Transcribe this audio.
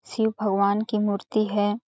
शिव भगवान की मूर्ति हैं।